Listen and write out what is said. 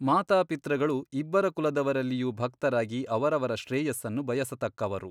ಮಾತಾಪಿತೃಗಳು ಇಬ್ಬರ ಕುಲದವರಲ್ಲಿಯೂ ಭಕ್ತರಾಗಿ ಅವರವರ ಶ್ರೇಯಸ್ಸನ್ನು ಬಯಸತಕ್ಕವರು.